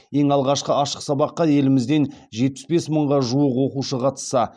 ең алғашқы ашық сабаққа елімізден жетпіс бес мыңға жуық оқушы қатысса